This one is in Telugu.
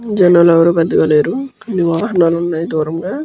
జనాలు ఎవరు పెద్దగా లేరు కొన్ని వాహనాలు ఉన్నాయి దూరంగా --